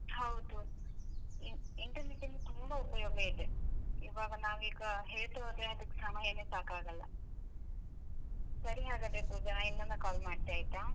ಹೌದು, internet ಇಂದ ತುಂಬ ಉಪಯೋಗ ಇದೆ, ಇವಾಗ ನಾವೀಗ ಹೇಳ್ತಾ ಹೋದ್ರೆ ಅದ್ಕ್ ಸಮಯನೇ ಸಾಕಾಗಲ್ಲ, ಸರಿ ಹಾಗಾದ್ರೆ ಪೂಜಾ ಇನ್ನೊಮ್ಮೆ call ಮಾಡ್ತೆ ಆಯ್ತಾ?